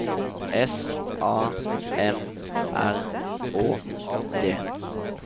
S A M R Å D